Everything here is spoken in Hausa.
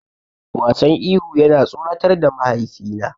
Wasan ihu yana tsoratar da mahaifina.